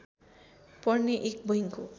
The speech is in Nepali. पर्ने एक बैंक हो